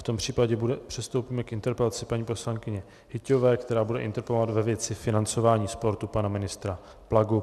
V tom případě přistoupíme k interpelaci paní poslankyně Hyťhové, která bude interpelovat ve věci financování sportu pana ministra Plagu.